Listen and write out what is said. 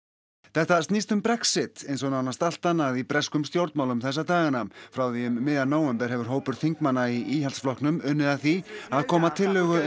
þetta snýst um Brexit eins og nánast allt annað í breskum stjórnmálum þessa dagana frá því um miðjan nóvember hefur hópur þingmanna í Íhaldsflokknum unnið að því að koma tillögu